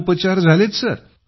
खूप छान उपचार झाले आहेत